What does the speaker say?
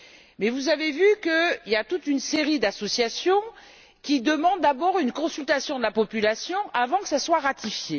Mais, vous avez vu qu'il y a toute une série d'associations qui demandent d'abord une consultation de la population avant que cela ne soit ratifié.